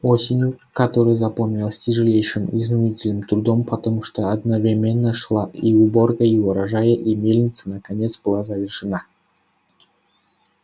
осенью которая запомнилась тяжелейшим изнурительным трудом потому что одновременно шла и уборка урожая мельница наконец была завершена